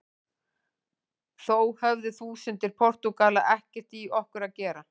Þó höfðu þúsundir Portúgala ekkert í okkur að gera.